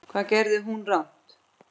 Hvað gerði hún rangt?